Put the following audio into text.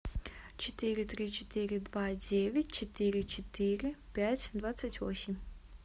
четыре три четыре два девять четыре четыре пять двадцать восемь